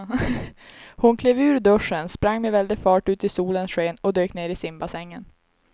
Hon klev ur duschen, sprang med väldig fart ut i solens sken och dök ner i simbassängen.